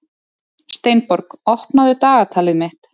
Steinborg, opnaðu dagatalið mitt.